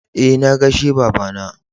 E, na gaishe baba na.